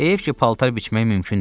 Heyif ki, paltar biçmək mümkün deyil.